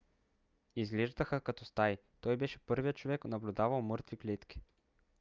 изглеждаха като стаи. той беше първият човек наблюдавал мъртви клетки